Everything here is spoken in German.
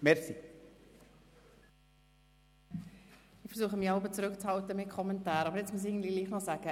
Ich versuche, mich jeweils mit Kommentaren zurückzuhalten, aber nun muss ich doch etwas sagen.